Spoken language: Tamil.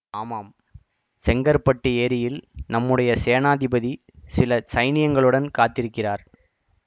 ஆமாம் செங்கற்பட்டு ஏரியில் நம்முடைய சேனாதிபதி சில சைனியங்களுடன் காத்திருக்கிறார்